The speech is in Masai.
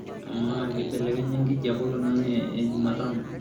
amaa kibelekenye enkijape olaing'ang'e ee jumatano